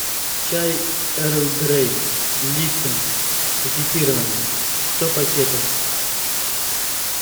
чай эрл грей липтон пакетированный сто пакетов